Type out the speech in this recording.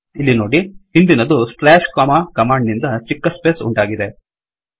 ಇಲ್ಲಿ ನೋಡಿ ಹಿಂದಿನದು ಸ್ಲಾಶ್ ಕೊಮಾ ಕಮಾಂಡ್ ನಿಂದ ಚಿಕ್ಕ ಸ್ಪೇಸ್ ಉಂಟಾಗಿದೆ